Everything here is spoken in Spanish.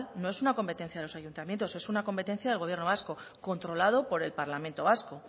no es una competencia de los ayuntamientos es una competencia del gobierno vasco controlado por el parlamento vasco